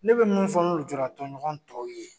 Ne bɛ mun fɔ an ka lujura tɔnɲɔgɔn tɔw ye.